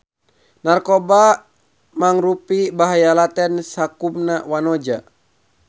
Narkoba mangrupi bahaya laten sakumna wanoja